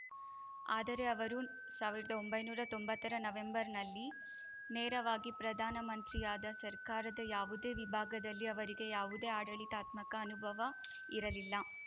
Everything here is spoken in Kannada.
ಆದರೆ ಅವರು ಸಾವಿರ್ದಾ ಒಂಬೈನೂರ ತೊಂಬತ್ತರ ನವೆಂಬರ್‌ನಲ್ಲಿ ನೇರವಾಗಿ ಪ್ರಧಾನ ಮಂತ್ರಿಯಾದ ಸರ್ಕಾರದ ಯಾವುದೇ ವಿಭಾಗದಲ್ಲಿ ಅವರಿಗೆ ಯಾವುದೇ ಆಡಳಿತಾತ್ಮಕ ಅನುಭವ ಇರಲಿಲ್ಲ